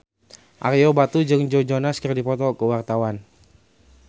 Ario Batu jeung Joe Jonas keur dipoto ku wartawan